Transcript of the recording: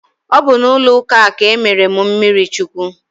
Ọ bụ n'ụlọ ụka a ka e mere m mmiri chukwu